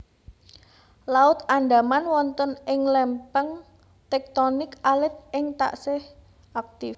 Laut Andaman wonten ing lémpéng téktonik alit ingkang taksih aktif